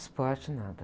Esporte, nada.